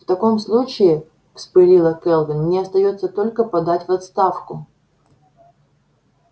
в таком случае вспылила кэлвин мне остаётся только подать в отставку